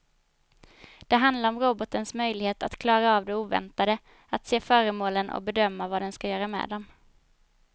Det handlar om robotens möjlighet att klara av det oväntade, att se föremålen och bedöma vad den ska göra med dem.